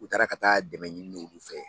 U taara ka taa dɛmɛ ɲini olu fɛ